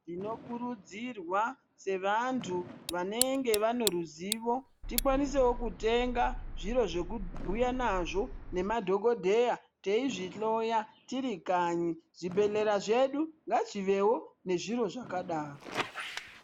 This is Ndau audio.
Tinokurudzirwa sevantu vanenge vane ruzivo tikwanisewo kutenga zviro zvekubhuya nazvo nemadhokodheya, teizvihloya tiri kanyi. Zvibhedhlera zvedu ngazvivewo nezviro zvakadaro.